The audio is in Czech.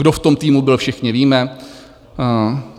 Kdo v tom týmu byl, všichni víme.